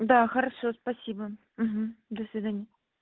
да хорошо спасибо до свидания